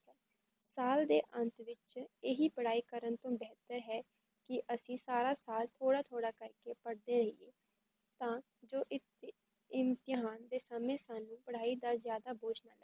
ਸਾਲ ਦੇ ਅੰਤ ਵਿੱਚ ਏਹੀ ਪੜ੍ਹਾਈ ਕਰਨ ਤੋਂ ਬੇਹਤਰ ਹੈ, ਕੀ ਅਸੀ ਸਾਰਾ ਸਾਲ ਥੋੜਾ ਥੋੜਾ ਕਰਕੇ ਪੜ੍ਹਤੇ ਰਹੀਏ ਤਾਂ ਜੋ ਈ ਇਮਤੇਹਾਨ ਦੇ ਸਮੇ ਸਾਨੂੰ ਪੜ੍ਹਾਈ ਦਾ ਜਾਦਾ ਬੋਝ